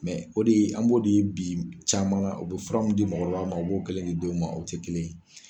o de an ko de ye bi caman ka o bɛ fura min di mɔgɔ ma o b'o kelen di o ma o tɛ kelen ye.